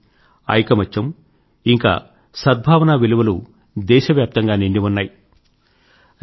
శాంతి ఐకమత్యం ఇంకా సద్భావనా విలువలు దేశవ్యాప్తంగా నిండి ఉన్నాయి